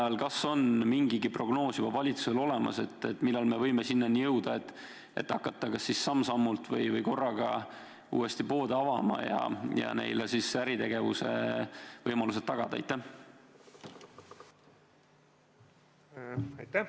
Ja kas on mingigi prognoos juba valitsusel olemas, millal me võime sinnani jõuda, et hakata kas siis samm-sammult või korraga uuesti poode avama, et neile äritegevuse võimalused tagada?